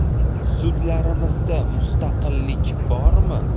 Sudlarimizda mustaqillik bormi?